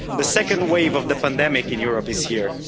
The second wave of the pandemic in Europe is here.